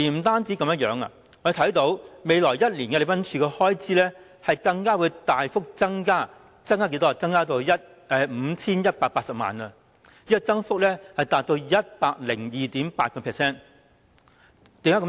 此外，我們看到在未來一年，禮賓處的開支會大幅增加至 5,180 萬元，增幅達 102.8%， 為何會這樣？